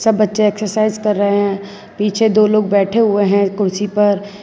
बच्चे एक्सरसाइज कर रहे है पीछे दो लोग बैठे हुए है कुर्सी पर --